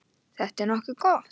Þetta er nokkuð gott.